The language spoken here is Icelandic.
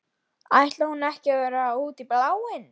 Ætli hún hafi nú verið alveg út í bláinn.